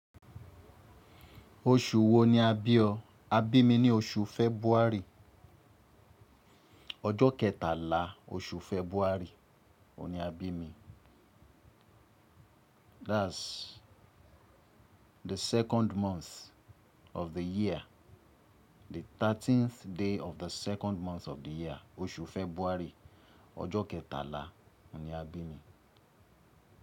Oṣù wo ni a bí ọ? A bi mi ni oṣù February, ọjọ kẹtala oṣù February. That's the second month of the year. The thirteenth day of the second month of the year. Oṣù February. Ọjọ́ kẹtàlá ni a bí mi.